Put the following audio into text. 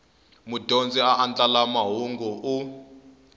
mudyondzi a andlala mahungu u